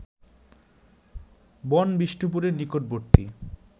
বন-বিষ্ণুপুরের নিকটবর্তী